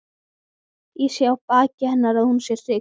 Ég sé á baki hennar að hún er hrygg.